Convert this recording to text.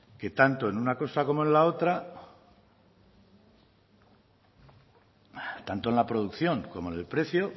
que tanto en una cosa como en la otra tanto en la producción como en el precio